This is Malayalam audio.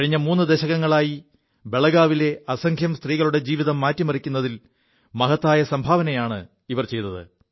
കഴിഞ്ഞ മൂു ദശകങ്ങളായി ബലഗാവിലെ അസംഖ്യം സ്ത്രീകളുടെ ജീവിതം മാറ്റിമറിക്കുതിൽ മഹത്തായ സംഭാവനയാണ് ഇവർ ചെയ്തത്